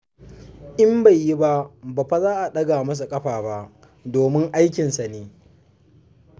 In bai yi ba, ba fa za a ɗaga masa ƙafa ba, domin aikinsa ne.